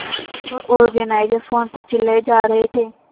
show organiser phone पर चिल्लाए जा रहे थे